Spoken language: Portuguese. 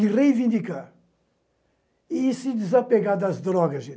e reivindicar e se desapegar das drogas, gente.